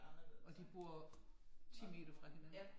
Og de bor 10 meter fra hinanden